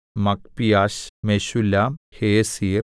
Magpiash Meshullam Hezir